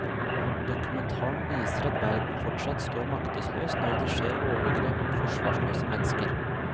Dokumentaren viser at verden fortsatt står maktesløs når det skjer overgrep mot forsvarsløse mennesker.